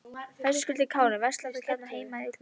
Höskuldur Kári: Verslar þú hér heima eða í útlöndum?